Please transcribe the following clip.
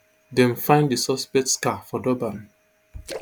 dem find di suspects car for durban